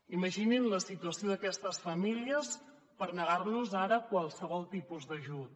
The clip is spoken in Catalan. imaginin la situació d’aquestes famílies per negar los ara qualsevol tipus d’ajut